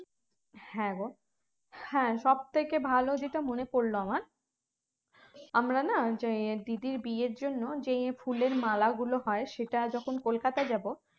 হ্যাঁ গো হ্যাঁ সব থেকে ভালো যেটা মনে পরলো আমার আমরা না যে দিদির বিয়ের জন্য যে ফুলের মালাগুলো হয় সেটা যখন কলকাতা যাব